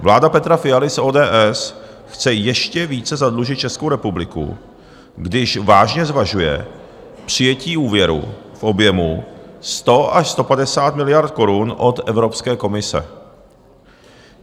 Vláda Petra Fialy z ODS chce ještě více zadlužit Českou republiku, když vážně zvažuje přijetí úvěru v objemu 100 až 150 miliard korun od Evropské komise.